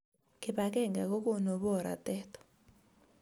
Kipakenge kokonu boratet